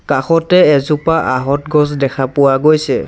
কাষতে এজোপা আহঁত গছ দেখা পোৱা গৈছে।